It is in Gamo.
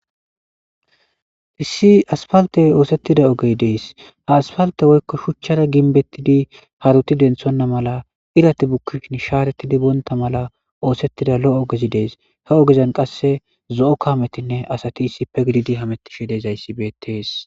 Issi asfaltte oosettida ogey dees. ha asfaltte woykko shuchchara ginbettidi haruti denthonna mala irati bukkshin sharettidi bontta mala oosettida lo7o ogezi dees. Ha ogezan qasse zo7o kametinne asati issipe gididi hamettishe dizayssi beetees.